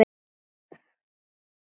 Hafa ekkert að fela.